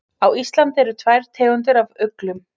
Á Íslandi eru tvær tegundir af uglum.